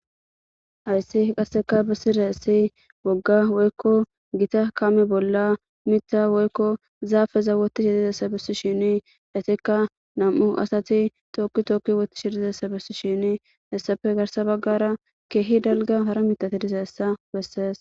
Ayssi qasseka bisire essi wogga woykko gita kami bolla mita woykko zaafeza wotih hidizessa bessi shini etekka nam7u asati tokki tokki woti shidizessa bessi shini hessafe garsa baggara keehi dalga hara mitati dizeessa wessees